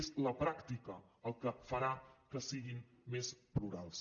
és la pràctica el que farà que siguin més plurals